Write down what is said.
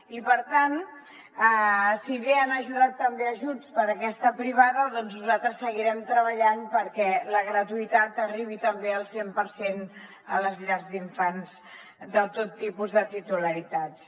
i per tant si bé han ajudat també ajuts per a aquesta privada nosaltres seguirem treballant perquè la gratuïtat arribi també al cent per cent a les llars d’infants de tot tipus de titularitats